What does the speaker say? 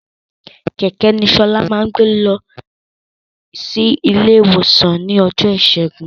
Kẹ̀kẹ́ ni Ṣọlá máa gbé lọsí ilé ìwòsan ní ọjọ́ ìṣẹ́gun